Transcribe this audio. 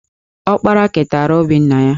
Ọkpara keteara obi nna ya